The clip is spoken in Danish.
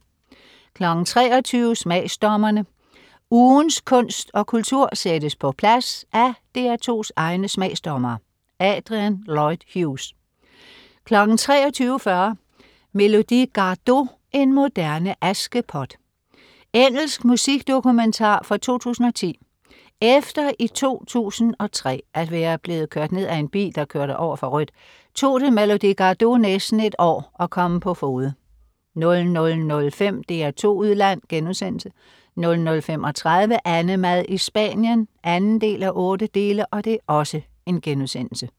23.00 Smagsdommerne. Ugens kunst og kultur sættes på plads af DR2s egne smagsdommere. Adrian Lloyd Hughes 23.40 Melody Gardot, en moderne Askepot. Engelsk musikdokumentar fra 2010. Efter i 2003 at være blevet kørt ned af en bil, der kørte over for rødt, tog det Melody Gardot næste et år at komme på fode 00.05 DR2 Udland* 00.35 AnneMad i Spanien 2:8*